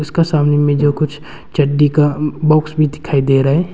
का सामने में जो कुछ चड्डी का बॉक्स भी दिखाई दे रहा है।